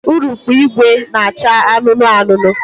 Urukpu ìgwè na-acha anụnụ anụnụ